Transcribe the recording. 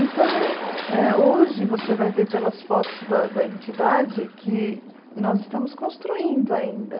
Então, eh hoje você vai ver pelas fotos da da entidade que nós estamos construindo ainda.